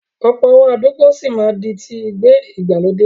Ọ̀pọ̀ àwọn àdúgbò sì máa di ti ìgbé ìgbàlódé.